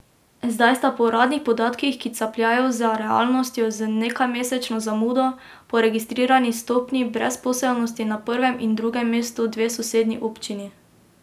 Zdaj sta po uradnih podatkih, ki capljajo za realnostjo z nekajmesečno zamudo, po registrirani stopnji brezposelnosti na prvem in drugem mestu dve sosednji občini.